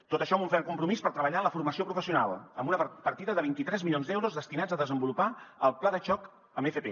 tot això amb un ferm compromís per treballar en la formació professional amb una partida de vint tres milions d’euros destinats a desenvolupar el pla de xoc en fp